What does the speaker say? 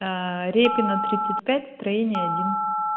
репина тридцать пять строение один